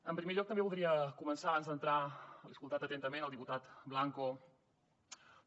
en primer lloc també voldria començar abans d’entrar he escoltat atentament el diputat blanco